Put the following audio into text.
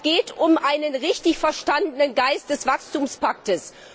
Es geht um einen richtig verstandenen Geist des Wachstumspakts.